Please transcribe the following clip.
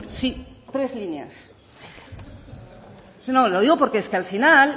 sí tres líneas no lo digo porque es que al final